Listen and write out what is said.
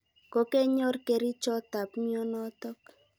Ko kenyor kerichot ap mianotok.